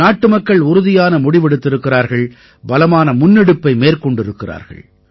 நாட்டுமக்கள் உறுதியான முடிவெடுத்திருக்கிறார்கள் பலமான முன்னெடுப்பை மேற்கொண்டிருக்கிறார்கள்